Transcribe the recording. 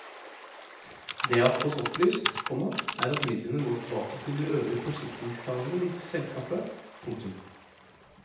Det jeg har fått opplyst, komma er at midlene går tilbake til de øvrige forsikringstagere i selskapet. punktum